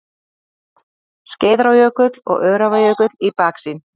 Skeiðarárjökull og Öræfajökull í baksýn.